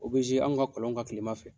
O be anw ka kɔlon kan kilema fɛ.